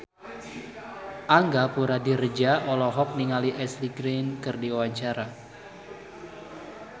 Angga Puradiredja olohok ningali Ashley Greene keur diwawancara